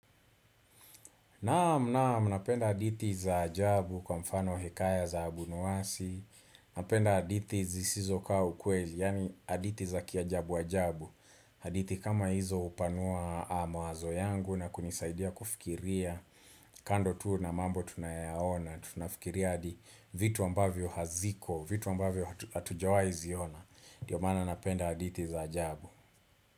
Naam, naam, napenda hadithi za ajabu kwa mfano hekaya za abunuwasi, napenda hadithi zisizo kaa ukweli, yani hadithi za kiajabu ajabu, hadithi kama hizo hupanua mawazo yangu na kunisaidia kufikiria, kando tu na mambo tunayaona, tunafikiria adi vitu ambavyo haziko, vitu ambavyo hatujawahi ziona, ndiyo mana napenda hadithi za ajabu.